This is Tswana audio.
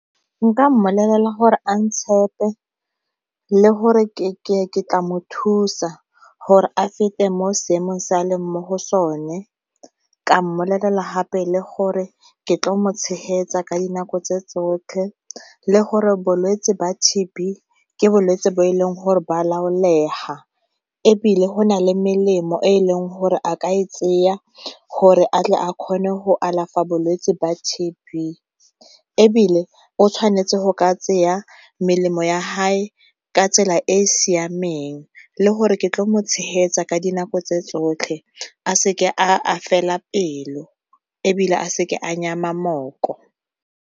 Nka mmolelela gore a ntshepe le gore ke tla mo thusa gore a fete mo seemong se e leng mo go sone, ka mmolelela hape le gore ke tlo mo tshegetsa ka dinako tse tsotlhe le gore bolwetse ba T_B ke bolwetse bo e leng gore ba laolega. Ebile go na le melemo e e leng gore a ka e tseya gore a tle a kgone go alafa bolwetse ba T_B, ebile o tshwanetse go ka tseya melemo ya hae ka tsela e e siameng le gore ke tlo mo tshegetsa ka dinako tse tsotlhe a seke a fela pelo, ebile a seke a nyema mooko.